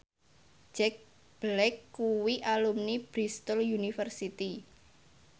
Jack Black kuwi alumni Bristol university